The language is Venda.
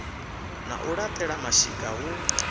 ḽa u laṱela mashika hu